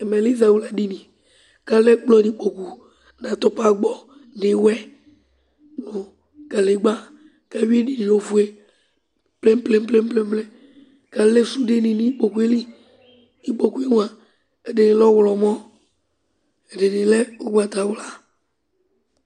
Ɛmɛlɛ izawla dìní kʋ alɛ ɛkplɔ nʋ ikpoku nʋ atʋpa gbɔ nʋ iwɛ nʋ kalegba kʋ awi ɛdiní ye nʋ ɔfʋe ple'm ple'm ple'm kʋ alɛ sude ni nʋ ikpoku li Ikpoku mʋa ɛdiní lɛ ɔwlɔmɔ, ɛdiní ugbatawla